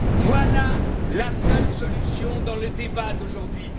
Voilà, la seule solution dans le débat d'aujourd'hui.